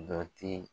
Dɔ ti